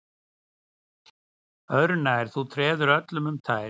Öðru nær, þú treður öllum um tær